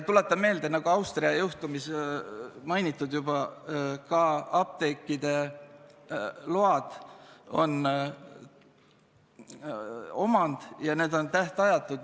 Tuletan meelde, et nagu seoses Austria juhtumiga on juba mainitud, ka apteekide load on omand, ja need on tähtajatud.